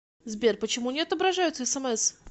сбер почему не отображаются смс